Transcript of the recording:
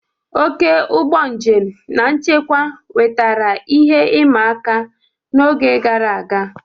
Oke ụgbọ njem na nchekwa wetara ihe ịma aka n'oge gara aga.